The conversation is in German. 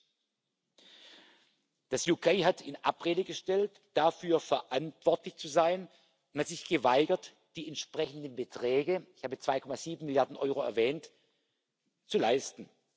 Das Vereinigte Königreich hat in Abrede gestellt, dafür verantwortlich zu sein und hat sich geweigert, die entsprechenden Beträge ich habe die 2,7 Milliarden Euro erwähnt zu leisten.